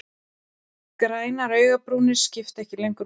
Grænar augnabrúnir skipta ekki lengur máli.